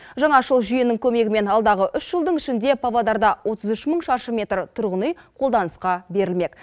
жаңашыл жүйенің көмегімен алдағы үш жылдың ішінде павлодарда отыз үш мың шаршы метр тұрғын үй қолданысқа берілмек